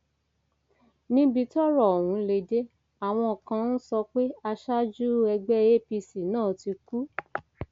níbi tọrọ ọhún lè dé àwọn kan ń sọ pé aṣáájú ẹgbẹ apc náà ti kú